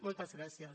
moltes gràcies